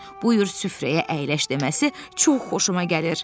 Buyur süfrəyə əyləş" deməsi çox xoşuma gəlir.